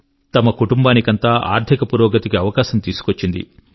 తన కుటుంబానికంతా ఆర్థిక పురోగతి కి అవకాశం తీసుకొచ్చింది